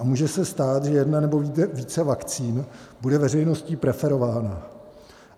A může se stát, že jedna nebo více vakcín bude veřejností preferována.